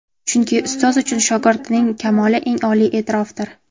Chunki ustoz uchun shogirdining kamoli eng oliy e’tirofdir”.